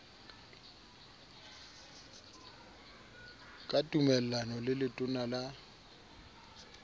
ka tumellano le letona la